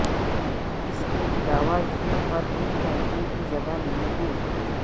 اس کے علاوہ جھیل پر ایک کیمپنگ کی جگہ نہیں ہے